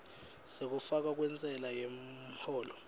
sekufakwa kwentsela yemholo